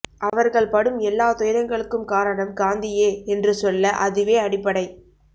அவர்கள் படும் எல்லா துயரங்களுக்கும் காரணம் காந்தியே என்று சொல்ல அதுவே அடிப்படை